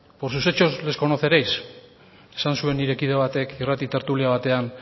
por sus hechos les conoceréis esan zuen nire kide batek irrati tertulia batean